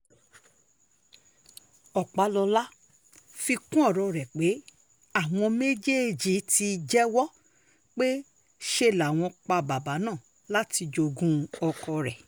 ọpàlọ́la fi um kún ọ̀rọ̀ rẹ̀ pé àwọn méjèèjì ti um jẹ́wọ́ pé ṣe làwọn pa bàbá náà láti jogún ọkọ rẹ̀